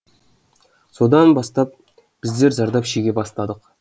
содан бастап біздер зардап шеге бастадық